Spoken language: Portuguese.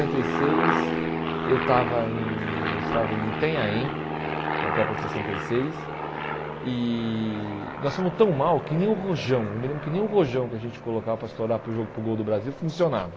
sessenta e seis, eu estava em eu estava em Itanhaém, na Copa de sessenta e seis, e nós fomos tão mal que nem o Rojão, eu me lembro que nem o Rojão que a gente colocava para estourar para o jogo para o gol do Brasil funcionava.